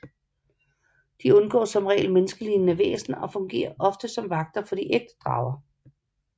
De undgår som regel menneskelignende væsner og fungerer ofte som vagter for de ægte drager